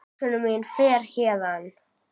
Hugsun mín fer héðan.